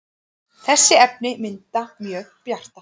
þessi efni mynda mjög bjarta